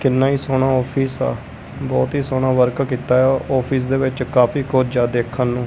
ਕਿੰਨਾਂ ਹੀ ਸੋਹਣਾ ਔਫਿਸ ਆ ਬਹੁਤ ਹੀ ਸੋਹਣਾ ਵਰਕ ਕੀਤਾ ਹੋਇਆ ਔਫਿਸ ਦੇ ਵਿੱਚ ਕਾਫੀ ਕੁਝ ਆ ਦੇਖਣ ਨੂੰ।